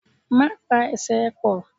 Má pa Ẹsẹ̀ ẹ pọ̀!